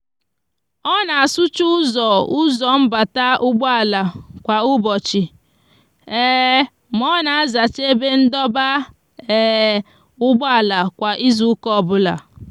o n'asucha uzo uzo mbata ugbo ala kwa ubochi ma o n'azacha ebe ndoba ugboala kwa izuuka obula